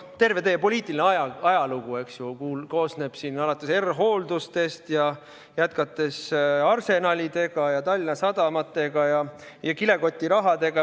Terve teie poliitiline ajalugu koosneb sellest, alates R-Hooldustest ja jätkates Arsenalidega ja Tallinna Sadamatega ja kilekotirahadega.